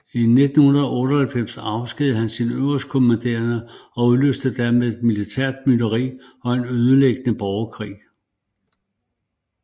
I 1998 afskedigede han sin øverstkommanderende og udløste dermed militær mytteri og en ødelæggende borgerkrig